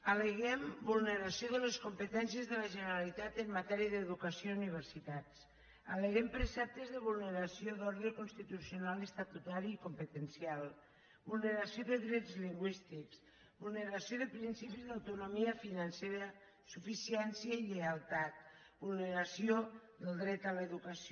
al·leguem vulneració de les competències de la generalitat en matèria d’educació i universitats al·leguem preceptes de vulneració d’ordre constitucional estatutari i competencial vulneració de drets lingüístics vulneració de principis d’autonomia financera suficiència i lleialtat vulneració del dret a l’educació